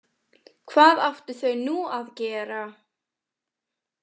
Hvað áttu þau nú að gera?